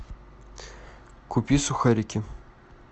купи сухарики